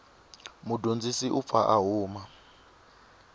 mudyondzi u pfa a huma